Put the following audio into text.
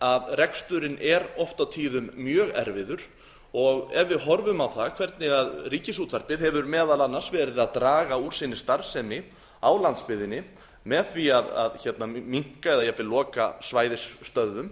að reksturinn er oft á tíðum mjög erfiður og ef við horfum á það hvernig ríkisútvarpið hefur meðal annars verið að draga úr sinni starfsemi á landsbyggðinni með var að minnka eða jafnvel svæðisstöðvum